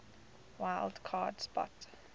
wild card spot